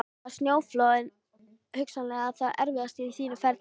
Var snjóflóðið hugsanlega það erfiðasta á þínu ferli?